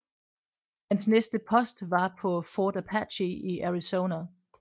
Hans næste post var på Fort Apache i Arizona